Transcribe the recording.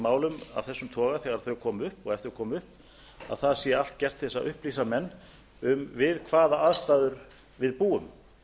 málum af þessum toga þegar þau koma upp og ef þau koma upp að það sé allt gert til að upplýsa menn um við hvaða aðstæður við búum